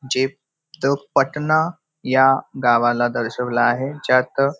जे द पटना ह्या गावाला दर्शवला आहे ज्यात --